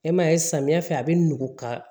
E m'a ye samiyɛ fɛ a bi nugu ka